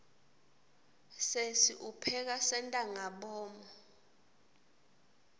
sesi upheka sentangabomu